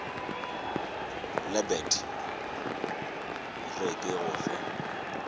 lebet re ke go fe